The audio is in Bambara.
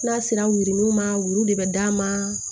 N'a sera wulininw ma woro de bɛ d'a ma